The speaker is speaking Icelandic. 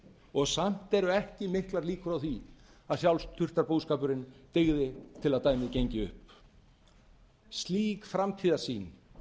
og samt eru ekki miklar líkur á því að sjálfsþurftarbúskapurinn dygði til að dæmið gengi upp slík framtíðarsýn